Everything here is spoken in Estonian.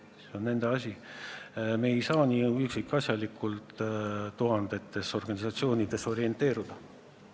See on nende asi, me ei saa üksikasjalikult tuhandetes organisatsioonides orienteeruda.